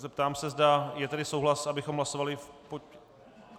Zeptám se, zda je tady souhlas, abychom hlasovali...